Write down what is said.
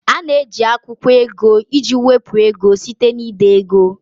A na-eji akwụkwọ ego iji wepụ ego site na ide ego